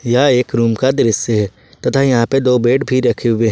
यह एक रूम का दृश्य तथा यहां पे दो बेड भी रखे हुए हैं।